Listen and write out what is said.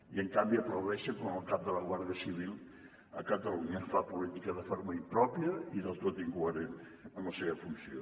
i en canvi aplaudeixen quan el cap de la guàrdia civil a catalunya fa política de forma impròpia i del tot incoherent amb la seva funció